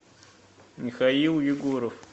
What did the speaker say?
михаил егоров